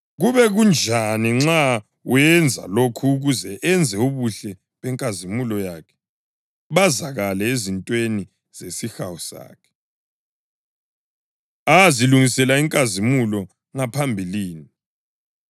Kube kunjani nxa wenza lokhu ukuze enze ubuhle benkazimulo yakhe bazakale ezintweni zesihawu sakhe, azilungisela inkazimulo ngaphambilini,